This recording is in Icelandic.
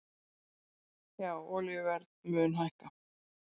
Já olíuverð mun hækka